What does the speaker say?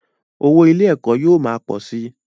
Owó ilé - ẹ̀kọ́ yóò ma pọ̀ si